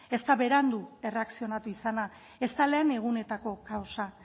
ezta berandu erreakzionatu izana ezta lehen egunetako kausa